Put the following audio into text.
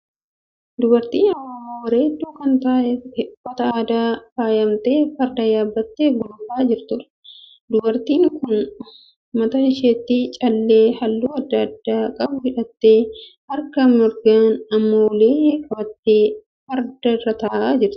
Dubartii Oromoo bareedduu kan uffata aadaan faayyamtee farda yaabbattee gulufaa jirtuudha. Dubartiin kun mataa isheetti callee halluu adda addaa qabu hidhattee harka mirgaan immoo ulee qabattee farda irra ta'aa jirti.